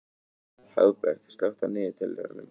Hagbert, slökktu á niðurteljaranum.